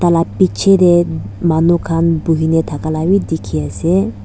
taila piche de manu khan buhi na thaka la b dikhi ase.